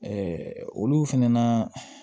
olu fɛnɛ na